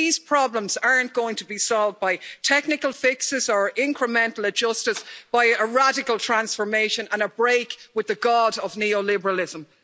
So these problems aren't going to be solved by technical fixes or incremental adjustors, but by a radical transformation and a break with the god of neoliberalism.